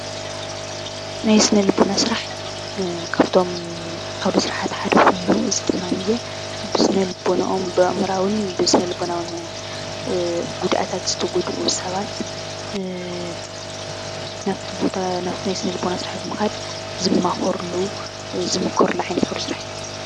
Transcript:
ናይ ስነ ልቦና ስራሕ ካብቶም ዓዉደ ስረሓት ሓደ ኮይኑ እዚ ድማ ብስነ ልቦነኦም፣ ብኣእምሮኣዉን፣ ስነልቦናዊ ጉድኣታት ዝተጎድኡ ሰባት ናብቲ ቦታ ናይ ስነልቦና ስራሕ ብምኻድ ዝማኻርሉን ዝምከርሉ ዓይነት ዓውደ ስራሕ እዩ።